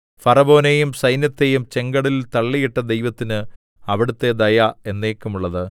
ഫറവോനെയും സൈന്യത്തെയും ചെങ്കടലിൽ തള്ളിയിട്ട ദൈവത്തിന് അവിടുത്തെ ദയ എന്നേക്കുമുള്ളത്